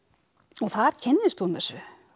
þar kynnist hún þessu